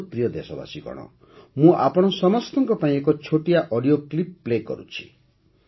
ମୋର ପ୍ରିୟ ଦେଶବାସୀଗଣ ମୁଁ ଆପଣ ସମସ୍ତଙ୍କ ପାଇଁ ଏକ ଛୋଟିଆ ଅଡିଓ କ୍ଲିପ୍ ପ୍ଲେ କରୁଛି